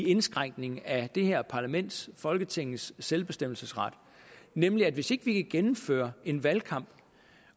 indskrænkning af det her parlaments folketingets selvbestemmelsesret nemlig at hvis ikke vi kan gennemføre en valgkamp